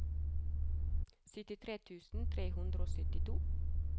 syttitre tusen tre hundre og syttito